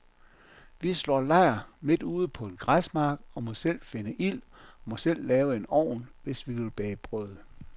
Vi slår lejr midt ude på en græsmark og må selv finde ild og må selv lave en ovn, hvis vi vil bage brød.